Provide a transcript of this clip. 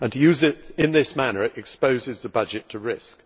To use it in this manner exposes the budget to risk.